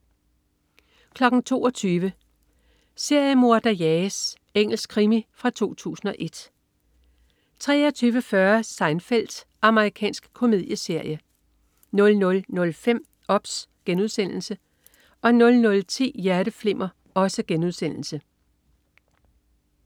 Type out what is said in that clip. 22.00 Seriemorder jages. Engelsk krimi fra 2001 23.40 Seinfeld. Amerikansk komedieserie 00.05 OBS* 00.10 Hjerteflimmer*